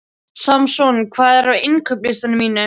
Samson, hvað er á innkaupalistanum mínum?